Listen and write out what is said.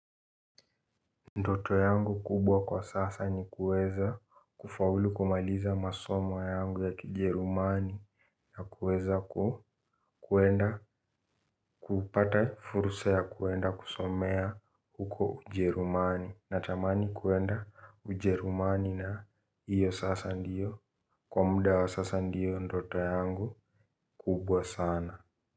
Ndoto yangu kubwa kwa sasa ni kuweza kufaulu kumaliza masomo yangu ya kijerumani na kuweza kuenda kupata fursa ya kwenda kusomea huko ujerumani. Natamani kwenda ujerumani na hiyo sasa ndiyo kwa muda wa sasa ndiyo ndoto yangu kubwa sana.